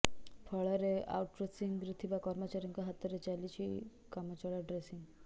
ଫଳରେ ଆଉଟ୍ସୋର୍ସିଂରେ ଥିବା କର୍ମଚାରୀଙ୍କ ହାତରେ ଚାଲିଛି କାମଚଳା ଡ୍ରେସିଂ